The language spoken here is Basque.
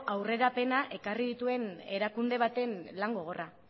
aurrerapena ekarri dituen erakunde baten lan gogorra